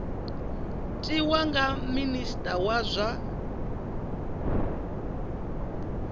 tiwa nga minista wa zwa